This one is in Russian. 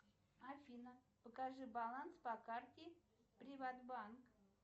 афина покажи баланс по карте приватбанк